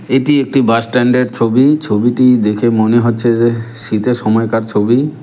এটি একটি bus stand -এর ছবি ছবিটি দেখে মনে হচ্ছে যেহ্ শীতের সময়কার ছবি।